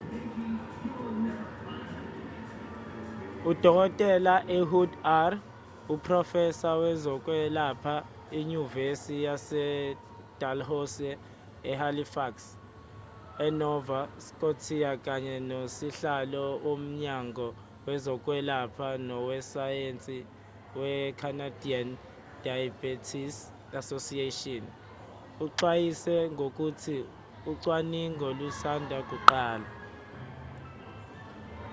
udkt ehud ur uprofesa wezokwelapha enyuvesi yasedalhousie ehalifax enova scotia kanye nosihlalo womnyango wezokwelapha nowesayensi wecanadian diabetes association uxwayise ngokuthi ucwaningo lusanda kuqala